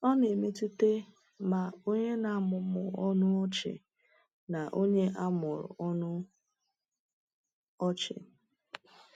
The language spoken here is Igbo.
Ọ na-emetụta ma onye na-amụmụ ọnụ ọchị na onye a mụrụ ọnụ ọchị.